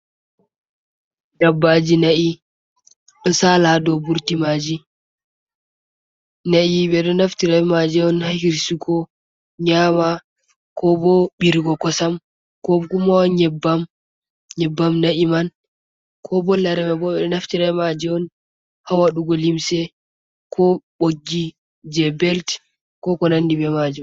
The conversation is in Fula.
Dabbaji na'i ɗo sala dou burti maji, na'i ɓe ɗo naftira be maji on ha hirsugo nyama, ko bo ɓirigo kosam, ko guma nyebbam, nyebbam na'i man, ko bo lareman bo ɓeɗo naftira maji on ha waɗugo limse ko bogiji je belt ko, ko nandi be majum.